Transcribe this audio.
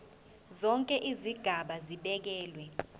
zonke izigaba zibekelwe